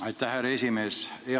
Aitäh, härra esimees!